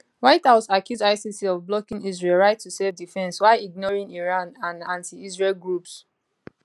white house accuse icc of blocking israel right to selfdefence while ignoring iran and antiisrael groups